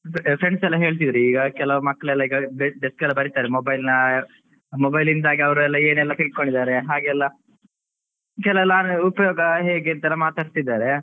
Friends ಎಲ್ಲ ಹೇಳ್ತಿದ್ರು ಈಗ ಕೆಲವು ಮಕ್ಕಳೆಲ್ಲಈಗ desk ಎಲ್ಲಾ ಬರೀತಾರೆ. mobile ನ mobile ಇಂದಾಗಿ ಅವರೆಲ್ಲ ಏನೆಲ್ಲಾ ತಿಳ್ಕೊಂಡಿದ್ದಾರೆ ಹಾಗೆಲ್ಲ ಕೆಲವೆಲ್ಲಾ ಉಪಯೋಗ ಹೇಗೆ ಅಂತೆಲ್ಲ ಮಾತಾಡ್ತಿದ್ದಾರೆ.